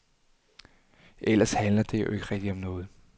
Ellers handler det jo ikke rigtig om noget.